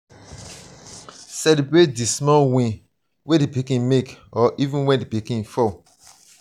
celebrate di small wins wey di pikin make or even when di pikin fail